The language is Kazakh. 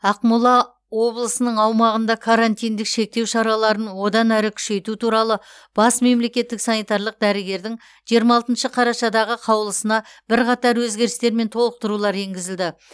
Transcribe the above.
ақмола облысының аумағында карантиндік шектеу шараларын одан әрі күшейту туралы бас мемлекеттік санитарлық дәрігердің қарашадағы қаулысына бірқатар өзгерістер мен толықтырулар енгізілді